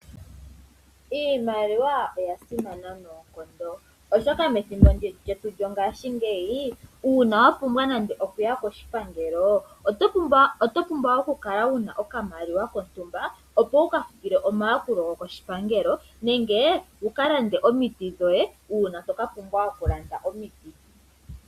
Iimaliwa oya simana noonkondo, oshoka methimbo lyetu lyo ngashingeyi, uuna wa pumbwa nande okuya koshipangelo oto pumbwa okamaliwa kontumba, opo wu ka futile omayakulo go koshipangelo, nenge wu ka lande omiti dhoye, uuna to ka pumbwa okulanda omiti.